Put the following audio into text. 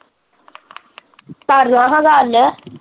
ਕਰਲਾ ਹਾਂ ਗੱਲ